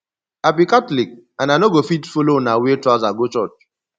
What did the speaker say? i be catholic and i no go fit follow una wear trouser go church